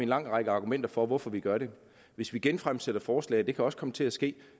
lang række argumenter for hvorfor vi gør det hvis vi genfremsætter forslag det kan også komme til at ske